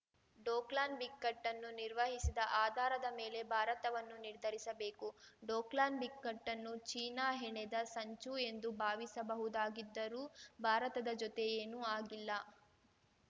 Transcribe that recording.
ಡೋಕ್ಲಾನ್ ಬಿಕ್ಕಟ್ಟನ್ನು ನಿರ್ವಹಿಸಿದ ಆಧಾರದ ಮೇಲೆ ಭಾರತವನ್ನು ನಿರ್ಧರಿಸಬೇಕು ಡೋಕ್ಲಾನ್ ಬಿಕ್ಕಟ್ಟು ಚೀನಾ ಹೆಣೆದ ಸಂಚು ಎಂದು ಭಾವಿಸಬಹುದಾಗಿದ್ದರೂ ಭಾರತದ ಜೊತೆ ಏನೂ ಆಗಿಲ್ಲ